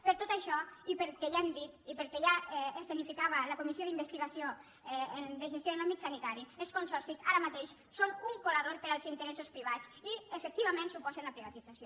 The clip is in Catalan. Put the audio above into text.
per tot això i pel que ja hem dit i pel que ja escenificava la comissió d’investigació de gestió en l’àmbit sanitari els consorcis ara mateix són un colador per als interessos privats i efectivament suposen la privatització